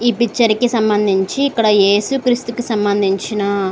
ఈ పిక్చర్ కి సంబంధించి ఏసుక్రీస్తుకి సంబంధించిన --